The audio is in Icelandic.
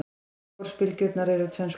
Yfirborðsbylgjurnar eru tvenns konar.